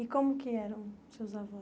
E como que eram seus avós?